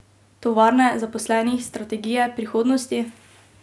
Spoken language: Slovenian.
Tovarne, zaposlenih, strategije, prihodnosti?